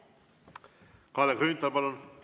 Kalle Grünthal, palun!